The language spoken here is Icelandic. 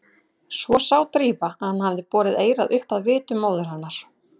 Svo sá Drífa að hann hafði borið eyrað upp að vitum móður hennar.